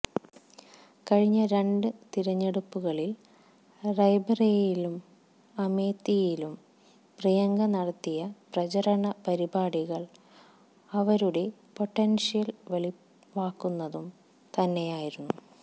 കഴിഞ്ഞ രണ്ട് തിരഞ്ഞെടുപ്പുകളില് റായ്ബെറേലിയിലും അമേത്തിയിലും പ്രിയങ്ക നടത്തിയ പ്രചരണ പരിപാടികള് അവരുടെ പൊട്ടന്ഷ്യല് വെളിവാക്കുന്നത് തന്നെയായിരുന്നു